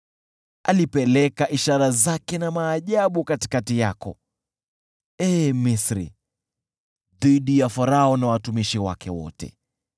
Alipeleka ishara zake na maajabu katikati yako, ee Misri, dhidi ya Farao na watumishi wake wote.